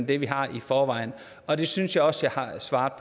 det vi har i forvejen og det synes jeg også jeg har sagt